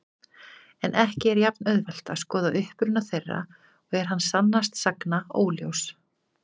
En ekki er jafn-auðvelt að skoða uppruna þeirra og er hann sannast sagna óljós.